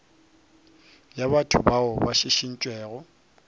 ya batho bao ba šišintšwego